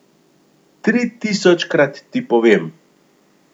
Tritisočkrat ti povem.